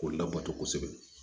K'u labato kosɛbɛ